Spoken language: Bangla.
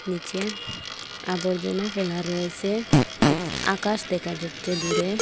নীচে আবর্জনা ফেলা রয়েসে এক আকাশ দেখা যাচ্চে দূরে।